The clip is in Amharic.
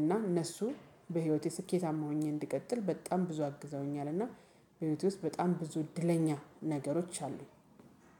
እና እነሱ በህይወቴ ስኬታማ ሆኜ እንድቀጥል በጣም ብዙ አግዘውኛል። እና በህይወቴ ውስጥ በጣም ብዙ እድለኛ ነገሮች አሉ።